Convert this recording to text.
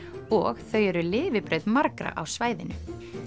og þau eru lifibrauð margra á svæðinu